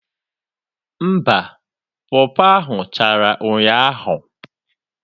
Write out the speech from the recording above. Mba, pọọ pọọ ahụ chara ụnyaahụ.